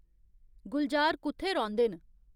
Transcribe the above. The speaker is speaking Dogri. गुलज़ार कु'त्थै रौंह्दे न